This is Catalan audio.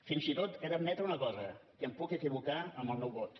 fins i tot he d’admetre una cosa que em puc equivocar amb el meu vot